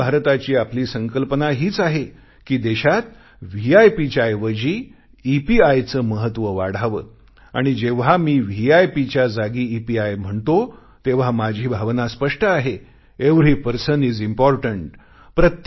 नवीन भारताची आपली संकल्पना हीच आहे कि देशात व्हीआयपीच्या ऐवजी ईपीआयचे महत्व वाढावे आणि जेव्हा मी व्हीआयपीच्या जागी ईपीआय म्हणतो तेव्हा माझी भावना स्पष्ट आहे एव्हरी पर्सन इज इम्पॉर्टन्ट